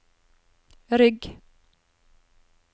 rygg